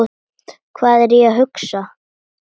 Hvað er ég að hugsa?